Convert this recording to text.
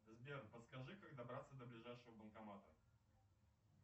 сбер подскажи как добраться до ближайшего банкомата